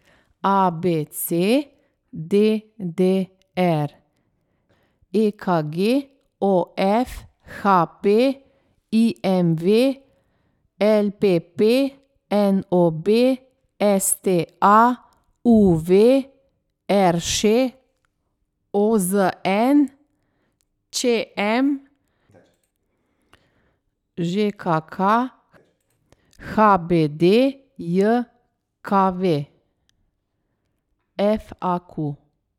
A B C; D D R; E K G; O F; H P; I M V; L P P; N O B; S T A; U V; R Š; O Z N; Č M; Ž K K; H B D J K V; F A Q.